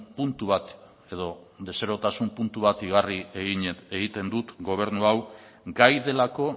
puntu bat edo deserosotasun puntu bat igarri egiten dut gobernu hau gai delako